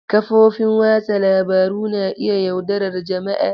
Kafofin watsa labaru na iya yaudarar jama'a.